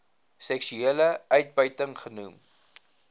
seksuele uitbuiting genoem